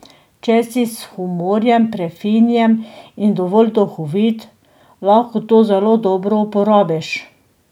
Če si s humorjem prefinjen in dovolj duhovit, lahko to zelo dobro uporabiš.